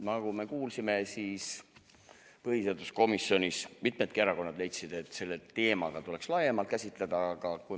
Nagu me kuulsime, leidsid põhiseaduskomisjonis mitmed erakonnad, et seda teemat tuleks käsitleda laiemalt.